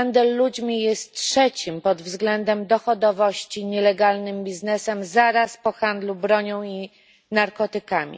Handel ludźmi jest trzecim pod względem dochodowości nielegalnym biznesem zaraz po handlu bronią i narkotykami.